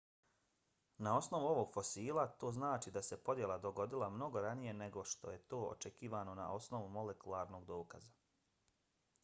na osnovu ovog fosila to znači da se podjela dogodila mnogo ranije nego što je to očekivano na osnovu molekularnog dokaza.